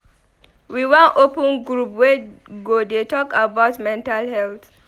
We wan open group wey go dey talk about mental health.